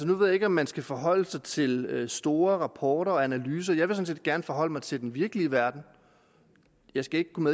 nu ved jeg ikke om man skal forholde sig til store rapporter og analyser jeg vil sådan set gerne forholde mig til den virkelige verden jeg skal ikke kunne